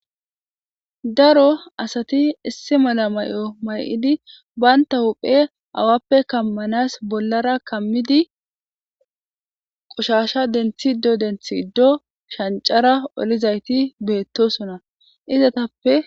daro asati issi mala may'o may'idi banta huphe awappe kammanas bollara kammidi qoshasha denthido denthido shancara olizayti beettosona izatappe